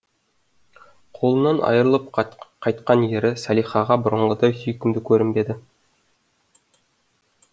қолынан айырылып қайтқан ері салихаға бұрынғыдай сүйкімді көрінбеді